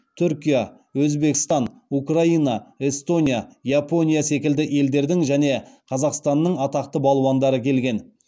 түркия өзбекстан украина эстония япония секілді елдердің және қазақстанның атақты балуандары келген